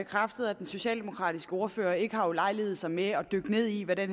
bekræftet at den socialdemokratiske ordfører ikke har ulejliget sig med at dykke ned i hvad det